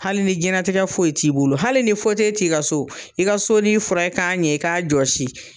Hali ni jɛnatigɛ foyi t'i bolo hali ni t'i ka so, i ka sonin furan i ka ɲɛ, i k'a josi.